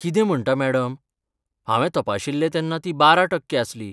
कितें म्हणटा मॅडम? हांवें तपाशिल्लें तेन्ना ती बारा टक्के आसली.